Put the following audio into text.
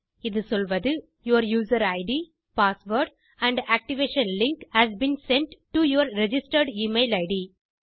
இது சொல்வது your user ID password and activation link has been sent to your registered email it